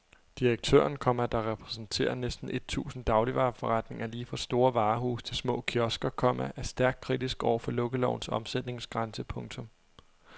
Direktøren, komma der repræsenterer næsten et tusind dagligvareforretninger lige fra store varehuse til små kiosker, komma er stærkt kritisk over for lukkelovens omsætningsgrænse. punktum